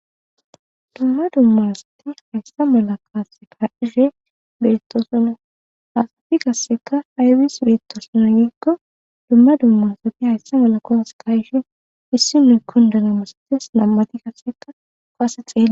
Dumma dummarasati hayssa mala kaase paihe berettosona hasafi kasseka aybis biritosona giggo dumma dummaasati hayssa mala kooas kayishi issi nuy kondana masates nammati kasseka koase xeey.